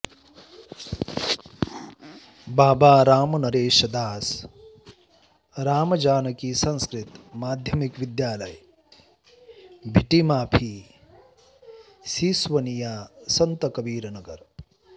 बाबा रामनरेश दास रामजानकी संस्कृत माध्यमिक विद्यालय भीटीमाफी सिसवनिया सन्त कबीरनगर